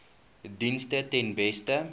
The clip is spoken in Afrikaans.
dienste ten beste